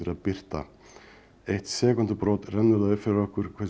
birta eitt sekúndubrot rennur það upp fyrir okkur hversu